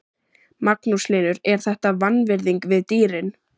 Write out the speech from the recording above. Magnús Hlynur: Er þetta vanvirðing við dýrin?